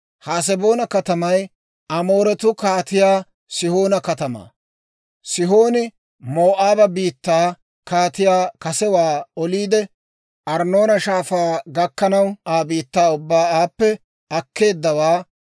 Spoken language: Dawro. Haseboona katamay Amooretuu Kaatiyaa Sihoona katamaa. Sihooni Moo'aaba biittaa kaatiyaa kasewaa oliide, Arnnoona Shaafaa gakkanaw Aa biittaa ubbaa aappe akkeeddawaa.